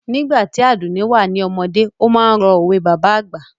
Nígbà tí Àdùnní wà ní ọmọdé, ó máa ń ro òwe bàbá àgbà